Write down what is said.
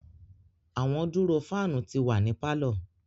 Awọn duro fan ti wa ni parlour